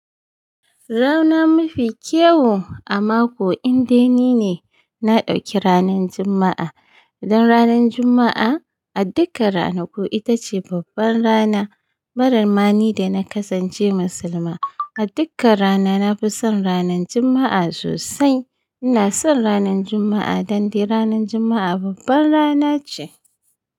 Rana mafi kyau a mako indai ni ne na ɗauki ranan Juma'a. Dan ranan Juma'a a dukkan ranaku ita ce babban rana bara mani da na kasance musulma. A dukkan rana na fi son ranan Juma'a sosai. Ina son ranan Juma'a dan dai ranan Juma'a babban rana ce.